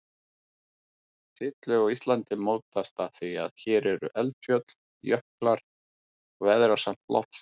Setlög á Íslandi mótast af því að hér eru eldfjöll, jöklar og veðrasamt loftslag.